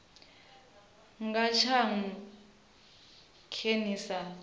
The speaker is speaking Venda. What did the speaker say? nga tshaṅu khe ni sa